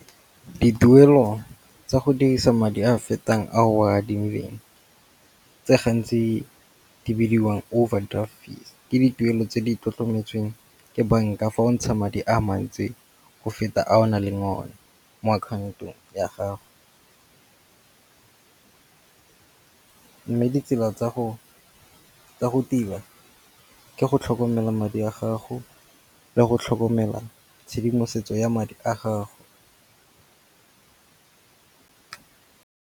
Dituelo tsa go dirisa madi a a fetang a o a adimileng tse gantsi di bidiwang overdraft fees, ke dituelo tse di tlotlometsweng ke banka fa o ntsha madi a mantsi go feta a o naleng one mo akhaontong ya gago. Mme ditsela tsa go tila ke go tlhokomela madi a gago le go tlhokomela tshedimosetso ya madi a gago.